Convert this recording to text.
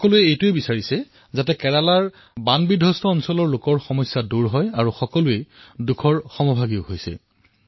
সকলোৱে এয়া সুনিশ্চিত কৰাৰ প্ৰয়াসত আছে যে কেৰালাৰ জনসাধাৰণৰ সমস্যা হ্ৰাস হওক তেওঁলোকৰ দুখৰ সমভাগী হওঁ